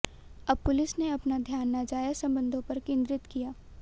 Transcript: अब पुलिस ने अपना ध्यान नाजायज संबंधों पर केंद्रित किया